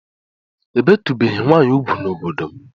Ébétùbèghi nwanyi úgwú n'obodo m